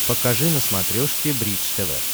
покажи на смотрешке бридж тв